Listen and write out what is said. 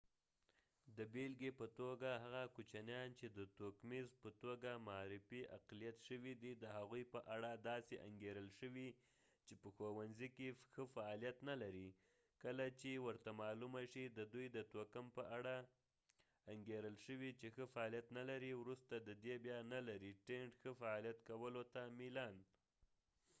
د بیلګی په توګه هغه کوچنیان چې د توکمیز اقلیت racial minority په توګه معرفی شوي د هغوي په اړه داسې انګیرل شوي چې په ښوونڅی کې ښه فعالیت نه لري کله چې ورته معلومه شي ددوي د توکم په اړه انګیرل شوي چې ښه فعالیت نه لري وروسته ددې بیا ښه فعالیت کولو ته میلانtend نه لري